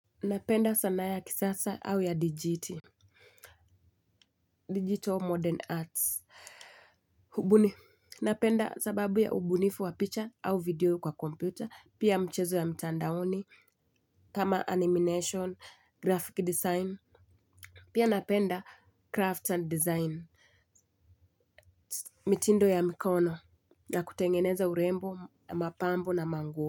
Napenda sanaa ya kisasa au ya dijiti Digital Modern Arts. Napenda sababu ya ubunifu wa picha au video kwa computer pia mchezo ya mtandaoni. Kama animation, graphic design. Pia napenda craft and design. Mitindo ya mikono na kutengeneza urembo, mapambo na manguo.